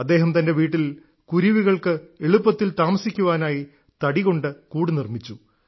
അദ്ദേഹം തന്റെ വീട്ടിൽ കുരുവികൾക്ക് എളുപ്പത്തിൽ താമസിക്കാനായി തടികൊണ്ട് കൂടു നിർമ്മിച്ചു